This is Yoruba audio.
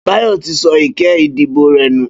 Bayo ti sọ iké idibó rè nú